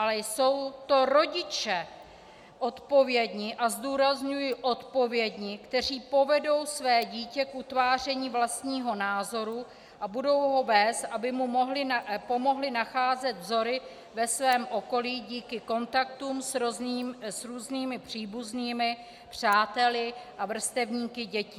Ale jsou to rodiče odpovědní - a zdůrazňuji odpovědní -, kteří povedou své dítě k utváření vlastního názoru a budou ho vést, aby mu pomohli nacházet vzory ve svém okolí díky kontaktům s různými příbuznými, přáteli a vrstevníky dětí.